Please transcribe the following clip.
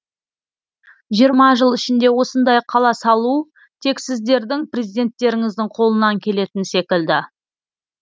жиырма жыл ішінде осындай қала салу тек сіздердің президенттеріңіздің қолынан келетін секілді